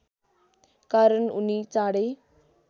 कारण उनी चाँडै